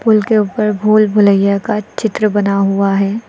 Pool के ऊपर भूल भूलइया का चित्र बना हुआ है।